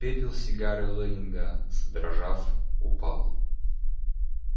пепел с сигары лэннинга задрожав упал